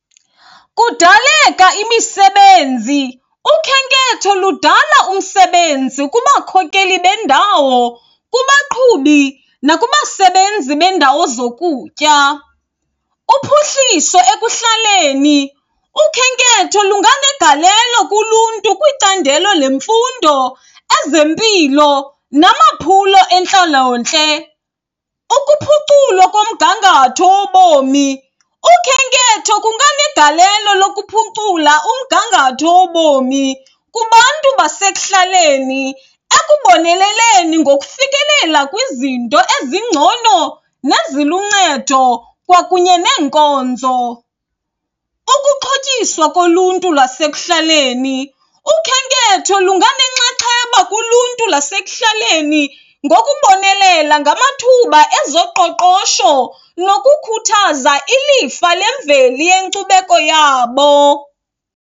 Kudaleka imisebenzi, ukhenketho ludala umsebenzi kubakhokeli bendawo, kubaqhubi nakubasebenzi beendawo zokutya. Uphuhliso ekuhlaleni, ukhenketho lunganegalelo kuluntu kwicandelo lemfundo, ezempilo namaphulo entlalontle. Ukuphuculwa komgangatho wobomi, ukhenketho kunganegalelo lokuphucula umgangatho wobomi kubantu basekuhlaleni ekuboneleleni ngokufikelela kwizinto ezingcono neziluncedo kwakunye neenkonzo. Ukuxhotyiswa koluntu lwasekuhlaleni, ukhenketho lunganenxaxheba kuluntu lasekuhlaleni ngokubonelela ngamathuba ezoqoqosho nokukhuthaza ilifa lemveli yenkcubeko yabo.